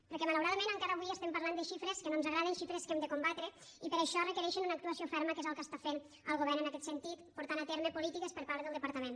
perquè malauradament encara avui estem parlant de xifres que no ens agraden xifres que hem de combatre i per això requereixen una actuació ferma que és el que està fent el govern en aquest sentit portant a terme polítiques per part del departament